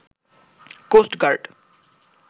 coast guard